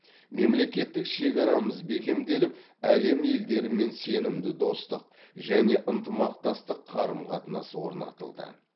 мемлекеттік шекарамыз бекемделіп әлем елдерімен сенімді достық және ынтымақтастық қарым қатынас орнатылды